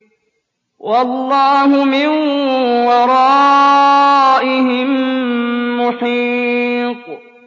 وَاللَّهُ مِن وَرَائِهِم مُّحِيطٌ